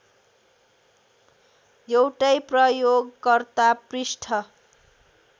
एउटै प्रयोगकर्ता पृष्ठ